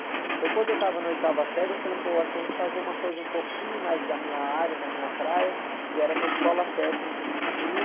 Então, quando eu tava na oitava série, eu falei, pô, acho que eu vou fazer uma coisa um pouquinho mais da minha área, da minha praia, que era uma escola técnica que tinha...